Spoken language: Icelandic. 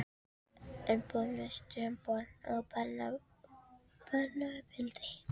en þó mest um börn og barnauppeldi.